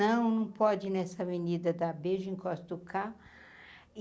Não não pode, nessa avenida, dar beijo encosta o carro.